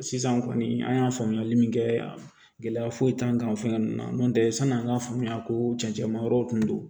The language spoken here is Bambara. Sisan kɔni an y'a faamuyali min kɛ gɛlɛya foyi t'an kan fɛn ninnu na n'o tɛ sanni an k'a faamuya ko cɛncɛn ma yɔrɔ tun don